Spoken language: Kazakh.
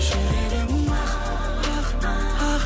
жүрегім ақ ақ ақ